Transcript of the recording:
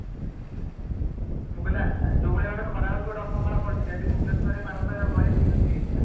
ମୁଁ କହିଲି ଆଁ ଯୋଉ ଭଳି ଭାବେ ଖରା ହଉଛି ଗୋଟେ ଅସମ୍ଭାଳ ପରିସ୍ଥିତି ଆଜି ଭୁବନେଶ୍ୱର ରେ ପାରଦ ବୟାଳିଶି ଡ଼ିଗ୍ରୀ ଛୁଇଁ ଯାଇଥିଲା